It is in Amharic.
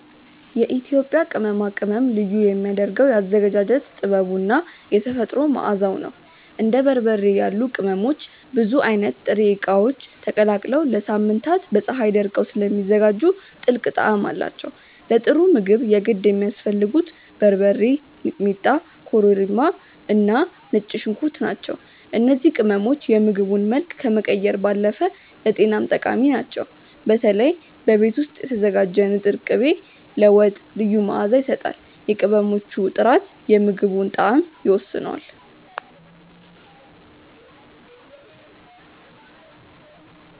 የኢትዮጵያ ቅመማ ቅመም ልዩ የሚያደርገው የአዘገጃጀት ጥበቡ እና የተፈጥሮ መዓዛው ነው። እንደ በርበሬ ያሉ ቅመሞች ብዙ አይነት ጥሬ እቃዎች ተቀላቅለው ለሳምንታት በፀሀይ ደርቀው ስለሚዘጋጁ ጥልቅ ጣዕም አላቸው። ለጥሩ ምግብ የግድ የሚያስፈልጉት በርበሬ፣ ሚጥሚጣ፣ ኮረሪማ እና ነጭ ሽንኩርት ናቸው። እነዚህ ቅመሞች የምግቡን መልክ ከመቀየር ባለፈ ለጤናም ጠቃሚ ናቸው። በተለይ በቤት ውስጥ የተዘጋጀ ንጥር ቅቤ ለወጥ ልዩ መዓዛ ይሰጣል። የቅመሞቹ ጥራት የምግቡን ጣዕም ይወስነዋል።